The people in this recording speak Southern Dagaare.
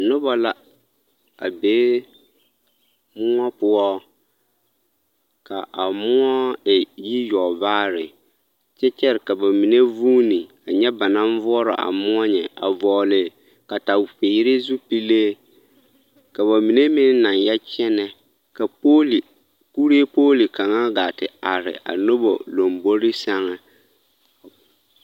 Nobɔ la a be moɔ poɔ ka a moɔ e yiyɔgvaare kyɛ kyɛre ka ba mine vuuni a nyɛ ba naŋ voɔrɔ a moɔ nyɛ a vɔgli kataweere zupile ka ba mine meŋ naŋ yɛ kyɛnɛ ka pooli kuree pooli kaŋa gaa te are a nobɔ lɔmbore sɛŋ.